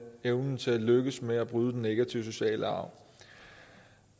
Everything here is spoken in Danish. evnen til at lykkes med at bryde den negative sociale arv